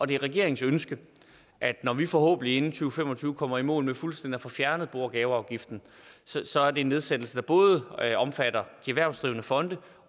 det er regeringens ønske at når vi forhåbentlig inden to fem og tyve kommer i mål med fuldstændig at få fjernet bo og gaveafgiften så er det en nedsættelse der både omfatter de erhvervsdrivende fonde